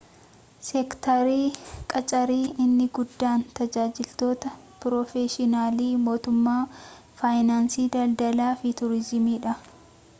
seektarii qaccari inni guddaan tajaajiloota piroofeshinaala mootummaa faayinaansi daldalaa fi tuuriziimii dha